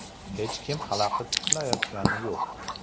Hech kim xalaqit qilayotgani yo‘q.